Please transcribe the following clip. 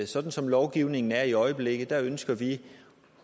sådan som lovgivningen er i øjeblikket ønsker vi